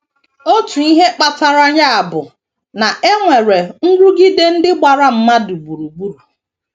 Otu ihe kpatara ya bụ na e nwere nrụgide ndị gbara mmadụ gburugburu.